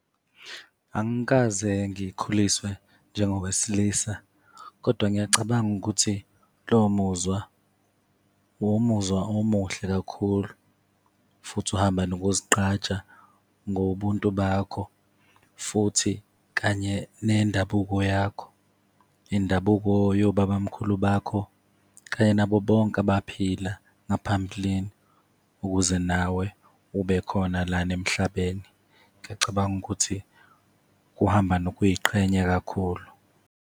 Angikaze ngikhuliswe njengowesilisa kodwa ngiyacabanga ukuthi lowo muzwa wumuzwa omuhle kakhulu futhi uhamba nokuzigqaja ngobuntu bakho, futhi kanye nendabuko yakho, indabuko yobabamkhulu bakho, kanye nabo bonke abaphila ngaphambilini ukuze nawe ube khona lana emhlabeni. Ngiyacabanga ukuthi kuhamba nokuy'qhenya kakhulu.